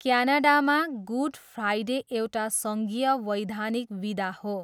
क्यानाडामा, good Friday एउटा सङ्घीय वैधानिक बिदा हो।